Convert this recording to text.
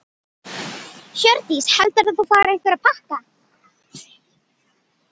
Hjördís: Heldurðu að þú fáir einhverja pakka?